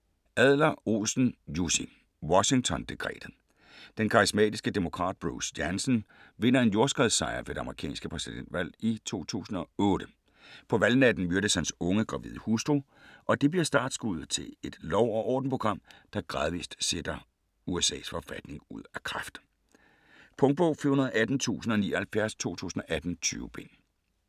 Adler-Olsen, Jussi: Washington dekretet Den karismatiske demokrat Bruce Jansen vinder en jordskredssejr ved det amerikanske præsidentvalg 2008. På valgnatten myrdes hans unge, gravide hustru, og det bliver startskuddet til et lov og orden-program der gradvist sætter USAs forfatning ud af kraft. Punktbog 418079 2018. 20 bind.